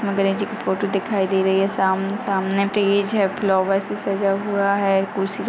यहां गणेश जी फोटो दिखाई दे रही है साम-सामने स्टेज है फ्लावर्स से सजाया हुआ है कुर्सी--